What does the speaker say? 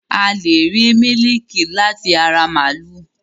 A lẹ̀ rí mílíkì láti ara màlúù